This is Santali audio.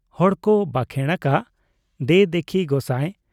ᱦᱚᱲᱠᱚ ᱵᱟᱠᱷᱮᱬ ᱟᱠᱟᱜ , ᱫᱮ ᱫᱤᱠᱷᱤ ᱜᱚᱥᱟᱸ ᱾